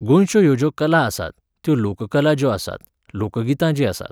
गोंयच्यो ह्यो ज्यो कला आसात, त्यो लोककला ज्यो आसात, लोकगितां जीं आसात,